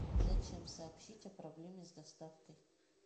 зачем сообщить о проблеме с доставкой